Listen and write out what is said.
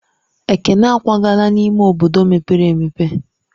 Ekene akwagala n'ime obodo mepere emepe.